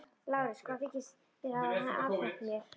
LÁRUS: Hvað þykist þér hafa afhent mér?